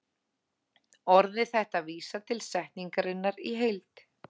Orðið þetta vísar til setningarinnar í heild.